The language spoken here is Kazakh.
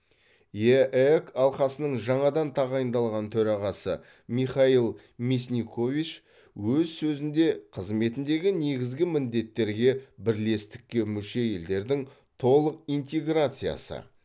еэк алқасының жаңадан тағайындалған төрағасы михаил мясникович өз сөзінде қызметіндегі негізгі міндеттерге бірлестікке мүше елдердің толық интеграциясы